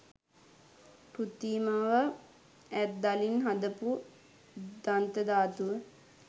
කෘතිමව ඇත්දලින් හදපු දන්ත ධාතුව.